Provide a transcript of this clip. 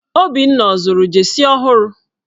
Obinna ọ zụrụ jeesi ọhụrụ?